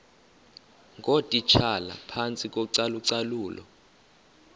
ngootitshala phantsi kocalucalulo